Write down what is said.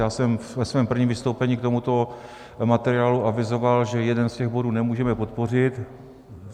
Já jsem ve svém prvním vystoupení k tomuto materiálu avizoval, že jeden z těch bodů nemůžeme podpořit.